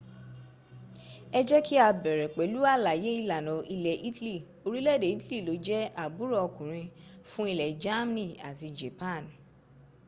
ẹ jẹ́ kí á bẹ̀rẹ̀ pẹ̀lú àlàyé ìlànà ilẹ̀ italy orílẹ̀èdè italy ló jẹ́ àbúrò ọkùnrin fún ilẹ̀ germany àti japan